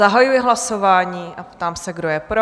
Zahajuji hlasování a ptám se, kdo je pro?